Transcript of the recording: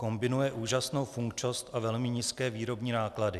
Kombinuje úžasnou funkčnost a velmi nízké výrobní náklady.